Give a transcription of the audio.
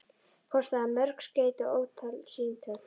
Kostaði það mörg skeyti og ótalin símtöl.